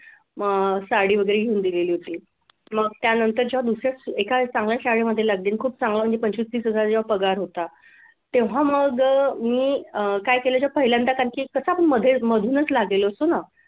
मग साडी वगैरे घेऊन दिलेली होती मग त्यानं त्याच्या दुसऱ्या एखाद्या चांगल्या शाळेमध्ये लागले आणि खूप पंचवीस तीस हजार पगार होता तेव्हा मग अह मी अह काय केलं जेव्हा पहिल्यांदा कसा पण मध्येच मधूनच लागलेलो असतो ना.